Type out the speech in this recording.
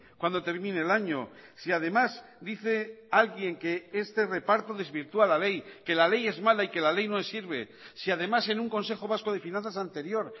cuando termine el año si además dice alguien que este reparto desvirtúa la ley que la ley es mala y que la ley no sirve si además en un consejo vasco de finanzas anterior